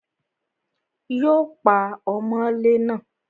Yóò pa ọmọlé náà